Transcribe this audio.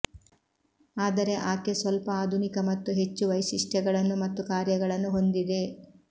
ಆದರೆ ಆಕೆ ಸ್ವಲ್ಪ ಆಧುನಿಕ ಮತ್ತು ಹೆಚ್ಚು ವೈಶಿಷ್ಟ್ಯಗಳನ್ನು ಮತ್ತು ಕಾರ್ಯಗಳನ್ನು ಹೊಂದಿದೆ